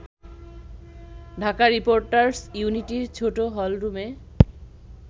Dhaka reporters ইউনিটির ছোট হলরুমে